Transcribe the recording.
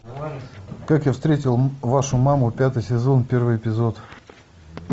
как я встретил вашу маму пятый сезон первый эпизод